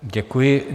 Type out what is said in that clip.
Děkuji.